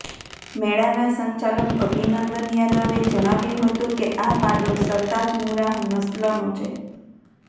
મેળાનાં સંચાલક અભિનંદન યાદવે જણાવ્યું હતું કે આ પાડો સરતાજ મુરાહ નસ્લનો છે